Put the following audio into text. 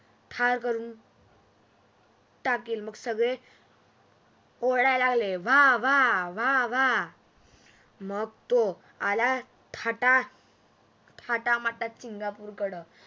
ठार करून टाकेल मग सगळे ओरडायला लागले वाह वाह वाह वाह मग तो आला थाटा माटात सिंगापूर कडं